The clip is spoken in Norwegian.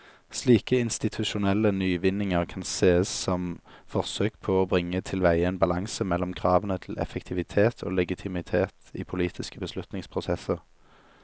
Slike institusjonelle nyvinninger kan sees som forsøk på å bringe tilveie en balanse mellom kravene til effektivitet og legitimitet i politiske beslutningsprosesser.